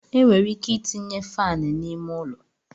E nwere ike itinye faanụ n'ime ụlọ.